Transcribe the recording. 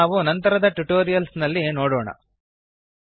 ಅದನ್ನು ನಾವು ನಂತರದ ಟ್ಯುಟೋರಿಯಲ್ಸ್ ನಲ್ಲಿ ನೋಡೋಣ